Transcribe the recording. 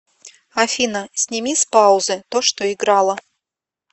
афина сними с паузы то что играло